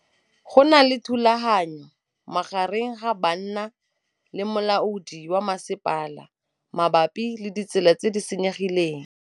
Go na le thulanô magareng ga banna le molaodi wa masepala mabapi le ditsela tse di senyegileng.